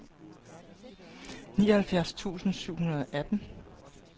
nioghalvfjerds tusind syv hundrede og atten